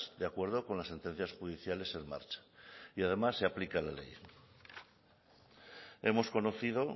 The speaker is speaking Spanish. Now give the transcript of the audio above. de acuerdo con las sentencias judiciales en marcha y además se aplica la ley hemos conocido